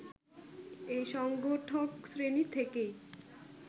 এই সংগঠকশ্রেণী থেকেই